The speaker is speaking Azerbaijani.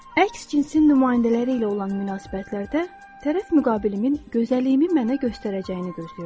Əks cinsin nümayəndələri ilə olan münasibətlərdə tərəf müqabilimin gözəlliyimi mənə göstərəcəyini gözləyirdim.